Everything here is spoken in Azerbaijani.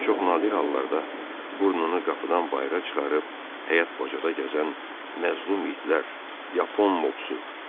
Çox nadir hallarda burnunu qapıdan bayıra çıxarıb həyət bacada gəzən məzlum itlər, yapon mopsur.